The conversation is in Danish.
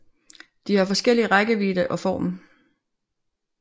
De har forskellige rækkevidde og form